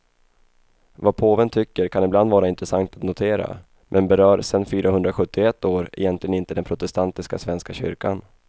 Vad påven tycker kan ibland vara intressant att notera, men berör sen fyrahundrasjuttioett år egentligen inte den protestantiska svenska kyrkan.